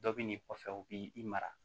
Dɔ bi n'i kɔfɛ u b'i mara